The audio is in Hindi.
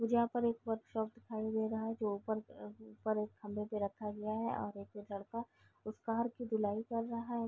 मुझे यहाँ पर एक वर्क शॉप दिखाई दे रहा है जो ऊपर ऊपर एक खंभे पे रखा गया है और एक लड़का उस कार की धुलाई कर रहा है।